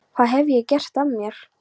Hvað hef ég gert af mér?